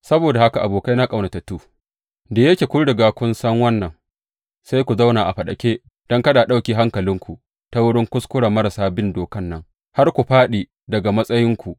Saboda haka, abokaina ƙaunatattu, da yake kun riga kun san wannan, sai ku zauna a faɗake don kada a ɗauke hankalinku ta wurin kuskuren marasa bin dokan nan har ku fāɗi daga matsayinku.